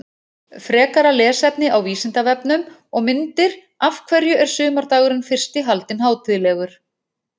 Frekara lesefni á Vísindavefnum og myndir Af hverju er sumardagurinn fyrsti haldinn hátíðlegur?